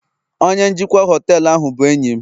onye njikwa họtelu bụ enyi m